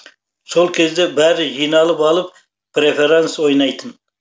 сол кезде бәрі жиналып алып преферанс ойнайтын